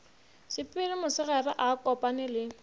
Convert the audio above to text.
sepele mosegare a kopane le